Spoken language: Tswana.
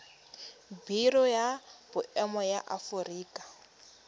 biro ya boemo ya aforika